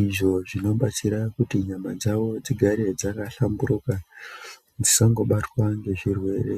izvo zvinobatsira kuti nyama dzavo dzigare dzakahlamburuka, dzisangobatwa ngezvirwere.